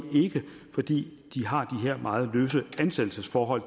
ikke fordi de har de her meget løse ansættelsesforhold